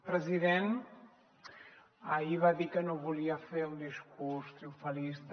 president ahir va dir que no volia fer un discurs triomfalista